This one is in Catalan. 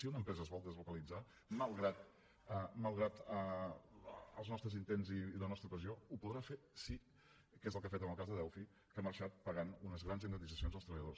si una empresa es vol deslocalitzar malgrat els nostres intents i la nostra pressió ho podrà fer sí que és el que ha fet en el cas de delphi que ha marxat pagant unes grans indemnitzacions als treballadors